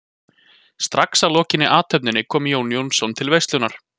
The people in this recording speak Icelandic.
Strax að lokinni athöfninni kom Jón Jónsson til veislunnar.